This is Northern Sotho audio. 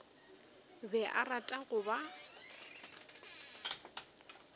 be a rata go ba